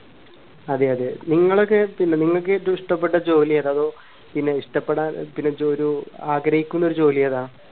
അതെ അതെ നിങ്ങളൊക്കെ പിന്നെ നിങ്ങൾക്ക് ഏറ്റവും ഇഷ്ടപ്പെട്ട ജോലി ഏതാ പിന്നെ ഇഷ്ടപ്പെടാൻ ഒരു ആഗ്രഹിക്കുന്ന ഒരു ജോലി ഏതാ